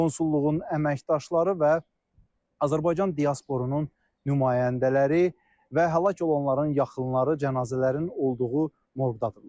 Konsulluğun əməkdaşları və Azərbaycan diasporunun nümayəndələri və həlak olanların yaxınları cənazələrin olduğu mordadırlar.